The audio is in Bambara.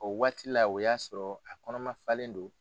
O waati la o y'a sɔrɔ a kɔnɔma faalen do.